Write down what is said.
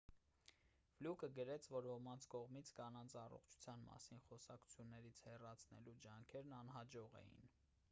ֆլյուկը գրեց որ ոմանց կողմից կանանց առողջության մասին խոսակցություններից հեռացնելու ջանքերն անհաջող էին